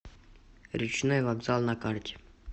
речной вокзал на карте